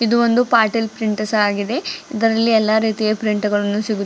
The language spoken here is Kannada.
ಇದು ಒಂದು ಪಾಟೀಲ್ ಪ್ರಿಂಟರ್ಸ್ ಆಗಿದೆ ಇದರಲ್ಲಿ ಎಲ್ಲಾ ರೀತಿಯ ಪ್ರಿಂಟ್ ಗಳನ್ನು ಸಿಗುತ್ತ್--